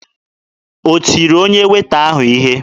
O tiri onye Weeta ahụ ihe?